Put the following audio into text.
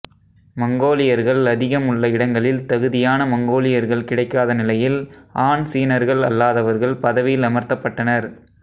மங்கோலியர்கள் அதிகம் உள்ள இடங்களில் தகுதியான மங்கோலியர்கள் கிடைக்காத நிலையில் ஆன் சீனர்கள் அல்லாதவர்கள் பதவியில் அமர்த்தப்பட்டனர்